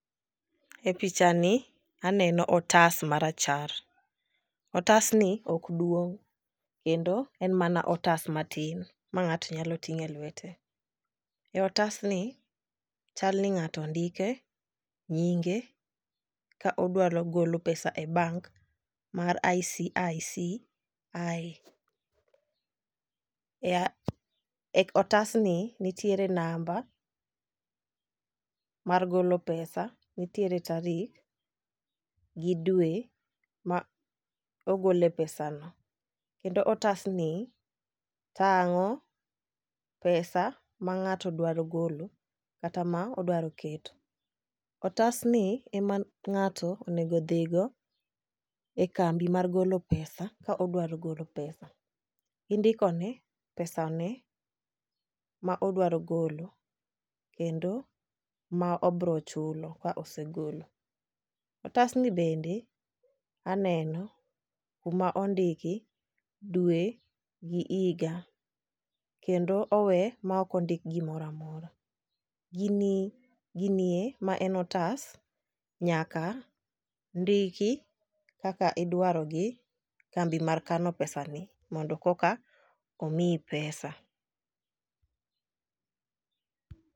E picha ni aneno otas marachar. Otas ni ok duong' kendo en mana otas matin ma ng'ato nyalo ting'e lwete. E otas ni chal ni ng'ato ndike nyinge ka odwaro golo pesa e bank mar ICICI . E e otas ni nitiere namba mar golo pesa, nitiere tarik gi dwe ma ogole pesa no . Kendo otasni tang'o pesa ma ng'ato dwaro golo kata ma odwaro keto. Otas ni ema ng'ato onego odhigo e kambi mar golo pesa ka odwaro golo pesa gindiko ne pesa ne ma odwaro golo kendo ma obro chulo ka osegolo. Otas ni bende aneno kuma ondiki dwe gi higa kendo owe ma ok ondik gimoramora. Gini ginie ma en otas nyaka ndiki kaka idwaro gi kambi mar kano pesa ni mondo koka omiyi pesa